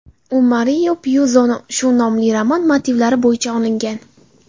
U Mario Pyuzoning shu nomli romani motivlari bo‘yicha olingan.